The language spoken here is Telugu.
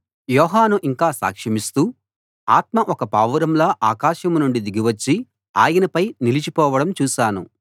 యోహాను ఇంకా సాక్షమిస్తూ ఆత్మ ఒక పావురంలా ఆకాశం నుండి దిగి వచ్చి ఆయనపై నిలిచి పోవడం చూశాను